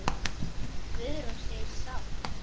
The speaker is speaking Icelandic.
Guðrún segist sátt.